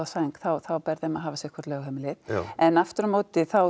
sæng þá ber þeim að hafa sitthvort lögheimilið en aftur á móti þá